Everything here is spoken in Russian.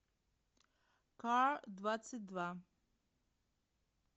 кар двадцать два